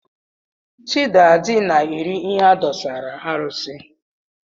Chiadi na-eri ihe adụsara arụsị.